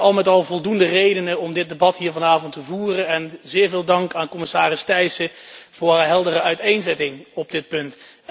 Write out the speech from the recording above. Al met al voldoende redenen om dit debat hier vanavond te voeren en zeer veel dank aan commissaris Thyssen voor haar heldere uiteenzetting op dit punt.